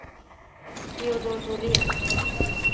Teodor Norén